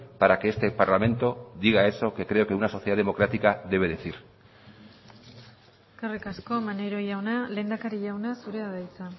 para que este parlamento diga eso que creo que una sociedad democrática debe decir eskerrik asko maneiro jauna lehendakari jauna zurea da hitza